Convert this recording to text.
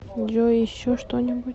джой еще что нибудь